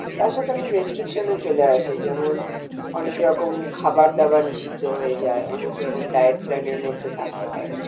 তার সাথে অনেক restriction চলে আসে যেমন অনেক রকম খাবার দাবার নিষিদ্ধ হয়ে যায় অনেক রকম diet plan এর মধ্যে থাকতে হয়,